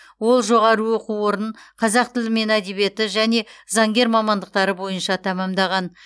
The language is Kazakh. ол жоғары оқу орнын қазақ тілі мен әдебиеті және заңгер мамандықтары бойынша тәмамдаған